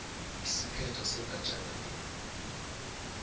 isiphetho sendatjana le